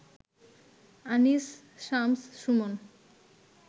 Anis, Shams Suman